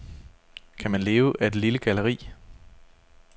Kan man leve af et lille galleri?